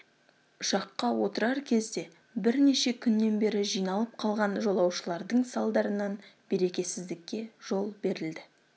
ұшаққа отырар кезде бірнеше күннен бері жиналып қалған жолаушылардың салдарынан берекесіздікке жол берілді